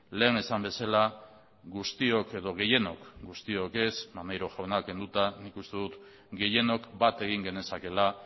lehen esan bezala guztiok edo gehienok guztiok ez maneiro jauna kenduta nik uste dut gehienok bat egin genezakeela